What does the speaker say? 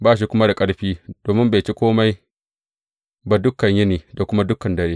Ba shi kuma da ƙarfi domin bai ci kome ba dukan yini da kuma dukan dare.